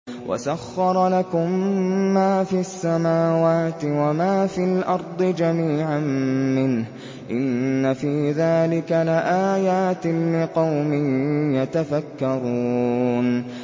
وَسَخَّرَ لَكُم مَّا فِي السَّمَاوَاتِ وَمَا فِي الْأَرْضِ جَمِيعًا مِّنْهُ ۚ إِنَّ فِي ذَٰلِكَ لَآيَاتٍ لِّقَوْمٍ يَتَفَكَّرُونَ